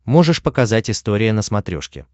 можешь показать история на смотрешке